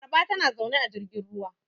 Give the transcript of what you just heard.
Laraba tana zaune a jirgin ruwa.